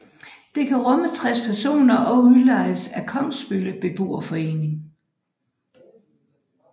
Det kan rumme 60 personer og udlejes af Kogsbølle Beboerforening